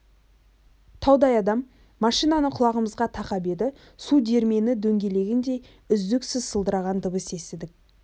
таудай адам машинаны құлағымызға тақап еді су диірмені дөңгелегіндей үздіксіз салдырлаған дыбыс естідік